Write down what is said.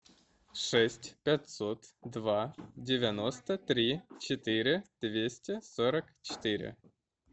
шесть пятьсот два девяносто три четыре двести сорок четыре